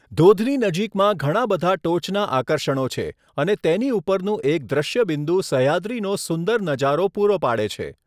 ધોધની નજીકમાં ઘણા બધા ટોચના આકર્ષણો છે અને તેની ઉપરનું એક દૃશ્યબિંદુ સહ્યાદ્રીનો સુંદર નજારો પૂરો પાડે છે.